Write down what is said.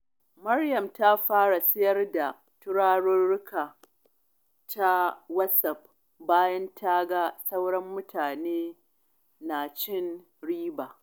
Maryam ta fara siyar da turaruka ta WhatsApp bayan ta ga sauran mutane na cin riba.